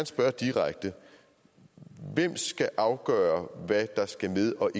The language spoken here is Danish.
spørge direkte hvem skal afgøre hvad der skal med og